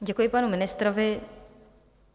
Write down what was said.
Děkuji panu ministrovi.